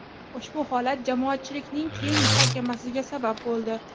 Ushbu holat jamoatchilikning keng muhokamasiga sabab bo‘ldi.